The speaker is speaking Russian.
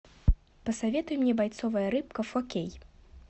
посоветуй мне бойцовая рыбка фо кей